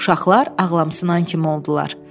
Uşaqlar ağlamsınan kimi oldular.